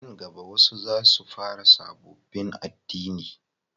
A nan gaba wasu za su fara sabobbin addini